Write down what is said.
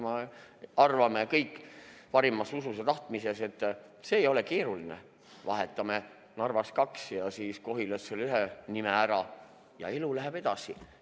Me arvame kõik parimas usus ja tahtmises, et see ei ole keeruline – vahetame Narvas kaks ja Kohilas ühe nime ära ning elu läheb edasi.